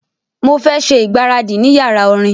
Mo fẹ ṣe igbaradi ni yara orin